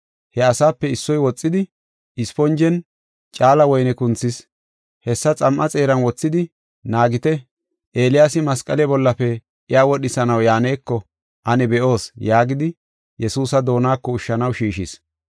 He asape issoy woxidi, isponjen caala woyne kunthis; hessa xam7a xeeran wothidi, “Naagite; Eeliyaasi masqale bollafe iya wodhisanaw yaaneko ane be7oos” yaagidi, Yesuusa doonako ushshanaw shiishis.